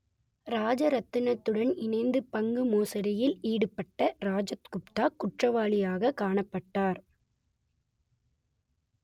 ராஜரத்தினத்துடன் இணைந்து பங்கு மோசடியில் ஈடுபட்ட ராஜத் குப்தா குற்றவாளியாக காணப்பட்டார்